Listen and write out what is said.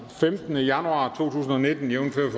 femtende januar to tusind og nitten jævnfør